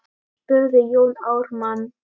spurði Jón Ármann.